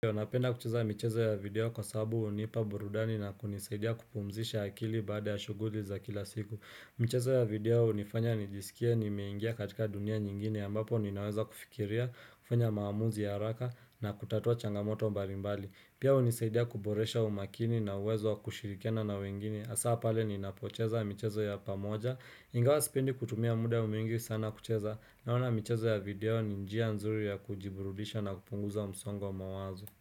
Napenda kucheza michezo ya video kwasababu hunipa burudani na kunisaidia kupumzisha akili baada ya shughuli za kila siku. Michezo ya video hunifanya nijisikie nimeingia katika dunia nyingine ambapo ninaweza kufikiria, kufanya maamuzi ya haraka, na kutatua changamoto balimbali. Pia hunisaidia kuboresha umakini na uwezo wakushirikiana na wengine, hasa pale ninapocheza michezo ya pamoja. Ingawa sipendi kutumia muda mwingi sana kucheza. Naona michezo ya video ni njia nzuri ya kujiburudisha na kupunguza msongo wa mawazo.